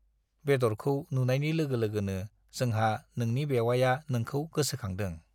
बेदरखौ नुनायनि लोगो-लोगोनो जोंहा नोंनि बेउवाइया नोंखौ गोसोखांदों।